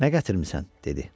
Nə gətirmisən, dedi.